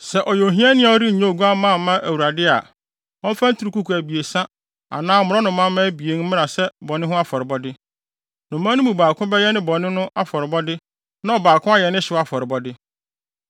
“ ‘Sɛ ɔyɛ ohiani a ɔrennya oguamma mfa mma Awurade a, ɔmfa nturukuku abien anaa mmorɔnomamma abien mmra sɛ ne bɔne ho afɔrebɔde. Nnomaa no mu baako bɛyɛ ne bɔne no afɔrebɔde na ɔbaako ayɛ ne hyew afɔrebɔde.